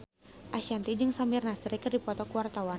Ashanti jeung Samir Nasri keur dipoto ku wartawan